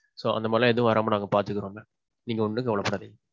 so, அந்த மாறிலாம் எதுவும் வராம நாங்க பாத்துக்குறோம் mam. நீங்க ஒண்ணும் கவல படாதீங்க.